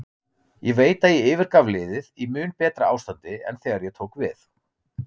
Ég veit að ég yfirgaf liðið í mun betra ástandi en þegar ég tók við.